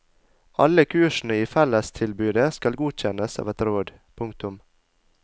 Alle kursene i fellestilbudet skal godkjennes av et råd. punktum